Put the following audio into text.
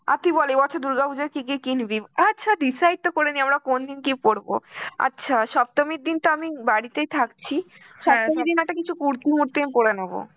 আর কি বলে এই বছর দুর্গাপূজা কি কিনবি? আচ্ছা decide তো করিনি কোন দিন কি পড়বো, আচ্ছা সপ্তমীর দিন তো আমি বাড়িতেই থাকছে. সপ্তমীর দিন একটা কিছু কুর~ কুর্তি আমি পড়ে নেব.